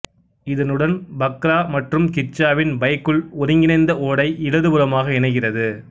இதனுடன் பக்ரா மற்று கிச்சாவின் பைகுல் ஒருங்கிணைந்த ஓடை இடது புறமாக இணைகிறது